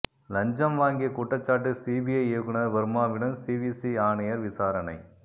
லஞ்சம் வாங்கிய குற்றச்சாட்டு சிபிஐ இயக்குனர் வர்மாவிடம் சிவிசி ஆணையர் விசாரணை